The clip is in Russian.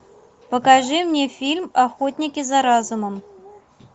покажи мне фильм охотники за разумом